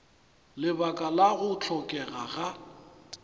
lebaka la go hlokega ga